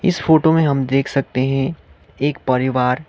इस फोटो में हम देख सकते हैं एक परिवार--